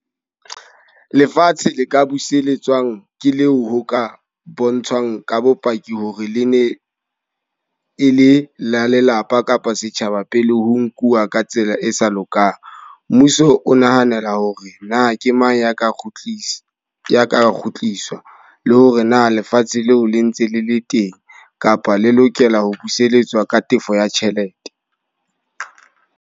Lefatshe le ka buseletswang ke leo ho ka bontshang ka bopaki hore le ne e le la lelapa kapa setjhaba pele ho nkuwa ka tsela e sa lokang. Mmuso o nahanela hore na ke mang ya ka kgutlisa, ya ka kgutliswa. Le hore na lefatshe leo le ntse le le teng kapa le lokela ho buseletswa ka tefo ya tjhelete.